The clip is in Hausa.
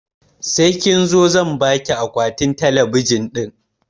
Sai kin zo zan baki akwatin talabijin ɗin